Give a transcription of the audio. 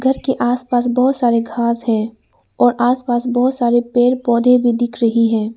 घर के आस पास बहोत सारे घास है और आस पास बहोत सारे पेड़ पौधे भी दिख रही है।